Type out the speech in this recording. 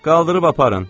Qaldırıb aparın.